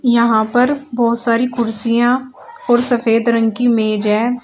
यहां पर बहुत सारी कुर्सियां और सफेद रंग की मेज है।